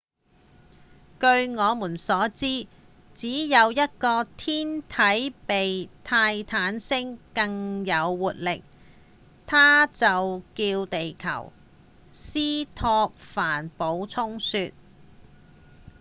據我們所知只有一個天體比泰坦星更有活力它就叫地球」斯托凡補充說